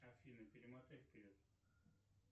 афина перемотай вперед